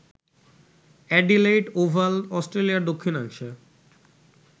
Adelaide Oval অস্ট্রেলিয়ার দক্ষিণাংশে